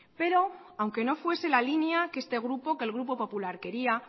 pero aunque no fuese la línea que este grupo que el grupo popular quería